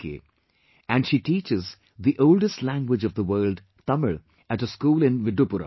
, and she teaches the oldest language of the world Tamil at a school in Viddupuram